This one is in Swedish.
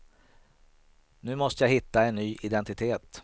Nu måste jag hitta en ny identitet.